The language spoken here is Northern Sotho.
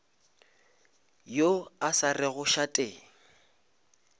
yo a sa rego šate